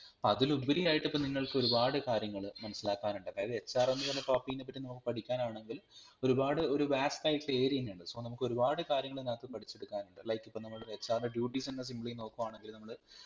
അതിലുപരി ആയിട്ടിപ്പം നിങ്ങൾക്കൊരുപാട് കാര്യങ്ങൾ മനസിലാകാനുണ്ട് അതായത് HR എന്ന് പറയുന്ന part നെ പറ്റി നോക്കാനാ പഠിക്കാനാണെങ്കിൽ ഒരുപാട് ഒരു vast ആയിട്ടുള്ള area ന്നെ ഉണ്ട് so നമ്മൾക്കൊരുപാട് കാര്യങ്ങൾ ഇതിനാകത്തു പഠിച്ചെടുക്കാൻ ഉണ്ട് like ഇപ്പം നമ്മൾ ഒരു HR ൻറെ duties തന്നെ simply നോക്കുവാണെങ്കിൽ നമ്മൾ